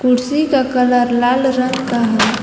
कुर्सी का कलर लाल रंग का है।